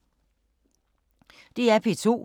DR P2